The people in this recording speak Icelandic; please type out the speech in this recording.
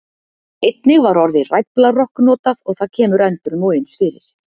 Einnig var orðið ræflarokk notað og það kemur endrum og eins fyrir.